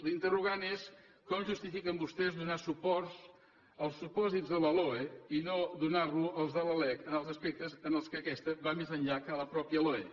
l’interrogant és com justifiquen vostès donar suport als supòsits de la loe i no donarlo als de la lec en els aspectes en què aquesta va més enllà que la mateixa loe